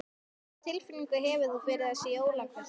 Lóa: Hvað tilfinningu hefur þú fyrir þessari jólavertíð?